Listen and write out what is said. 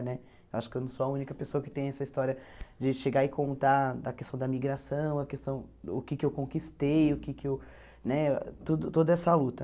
Né? Acho que eu não sou a única pessoa que tem essa história de chegar e contar da questão da migração, a questão o que que eu conquistei o que que eu, né tudo toda essa luta.